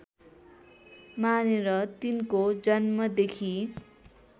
मानेर तिनको जन्मदेखि